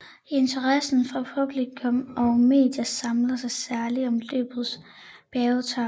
Interessen fra publikum og medier samler sig særligt om løbets bjergetaper